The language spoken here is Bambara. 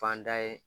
Fan da ye